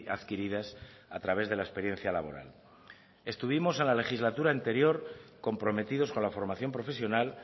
adquiridas a través de la experiencia laboral estuvimos en la legislatura anterior comprometidos con la formación profesional